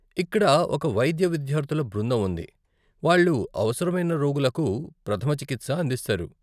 ఇక్కడ ఒక వైద్య విద్యార్థుల బృందం ఉంది , వాళ్ళు అవసరమైన రోగులకు ప్రథమ చికిత్స అందిస్తారు.